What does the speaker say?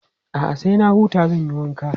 A'a, sai na huta zan yi wanka.